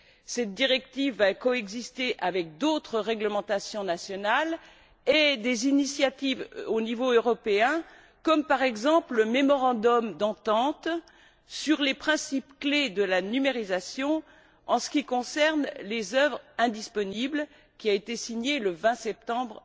Cette directive va coexister avec d'autres réglementations nationales et avec des initiatives au niveau européen comme, par exemple, le mémorandum d'entente sur les principes clés de la numérisation en ce qui concerne les œuvres indisponibles, qui a été signé le 20 septembre